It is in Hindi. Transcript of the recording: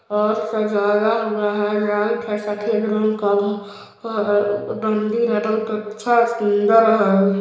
और सजाया हुआ है लाइट है सफ़ेद रंग का मंदिर है बहुत अच्छा सुन्दर है ।